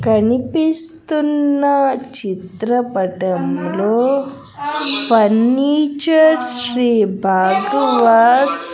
కనిపిస్తున్న చిత్రపటంలో ఫర్నీచర్ శ్రీ భాగవస్.